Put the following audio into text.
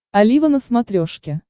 олива на смотрешке